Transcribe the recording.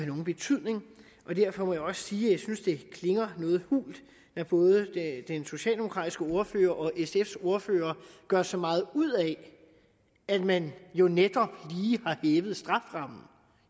nogen betydning derfor må jeg også sige at jeg synes det klinger noget hult når både den socialdemokratiske ordfører og sfs ordfører gør så meget ud af at man netop lige